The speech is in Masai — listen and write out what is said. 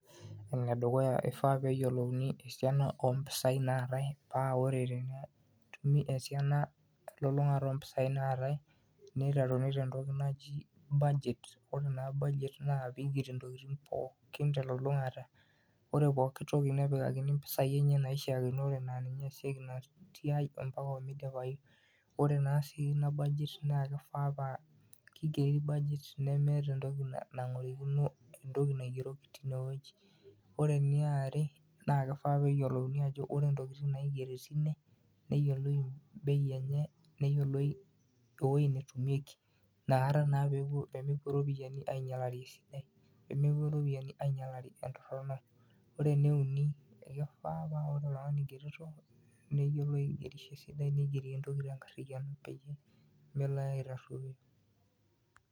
Ore enedukuya ifaa peyieolouni esiana ompisai naatae paa ore tenetumi esiana elulung'ata ompisai naatae niteruni tentoki naji budget, ore ina budget naa pigeri ntokitin pookin telulungata ore pooki toki nepikakini mpisai enye naishiakinore naa ninye easieki ina siai ompaka miipayu . Ore naa sii budget naa kifaa kegeri budget nemeeta entoki nagorikino entoki naigeroki tine wueji . Ore eniare naa kifaa peyioluni ajo ore ntokitin naigeri tine neyioloi bei enye , neyieoloi ewuei netumieki inakata naa pemepuo ropiyiani ainyialari, pemepuo ropiyiani aikunari entorono. Ore ene uni , kifaa paa ore oltungani oigerito , neyiolo aigerisho esidai, neyiolo entoki tenkariano peyie melo ake aitaroo.